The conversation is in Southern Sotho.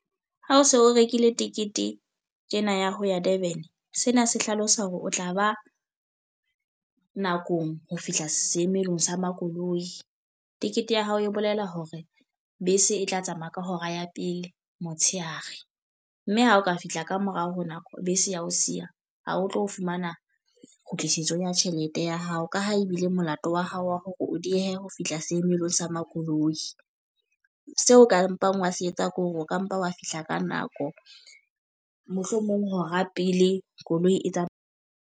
Ha o so o rekile tekete tjena ya ho ya Durban. Sena se hlalosa hore o tla ba nakong ho fihla seemelong sa makoloi. Tikete ya hao e bolela hore bese e tla tsamaya ka hora ya pele motshehare. Mme ha o ka fihla ka morao ho nako, bese ya ho siya, ha o tlo fumana kgutlisetso ya tjhelete ya hao. Ka ha ebile molato wa hao wa hore o diehe ho fihla seemelong sa makoloi. Seo o kampang wa se etsa ke hore o ka mpa wa fihla ka nako. Mohlomong hora pele koloi e .